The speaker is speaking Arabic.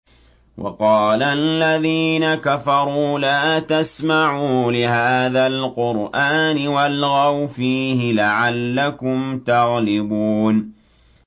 وَقَالَ الَّذِينَ كَفَرُوا لَا تَسْمَعُوا لِهَٰذَا الْقُرْآنِ وَالْغَوْا فِيهِ لَعَلَّكُمْ تَغْلِبُونَ